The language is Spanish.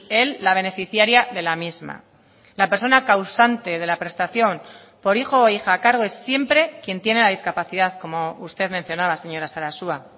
el la beneficiaria de la misma la persona causante de la prestación por hijo o hija a cargo es siempre quien tiene la discapacidad como usted mencionaba señora sarasua